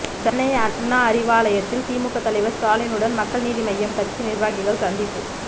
சென்னை அண்ணா அறிவாலயத்தில் திமுக தலைவர் ஸ்டாலினுடன் மக்கள் நீதி மய்யம் கட்சி நிர்வாகிகள் சந்திப்பு